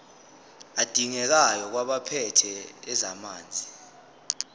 adingekayo kwabaphethe ezamanzi